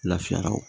Lafiya wo